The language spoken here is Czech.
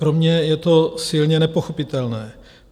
Pro mě je to silně nepochopitelné.